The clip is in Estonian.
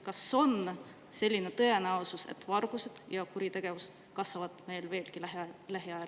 Kas on tõenäosus, et varastamine ja kuritegevus kasvavad meil lähiajal veelgi?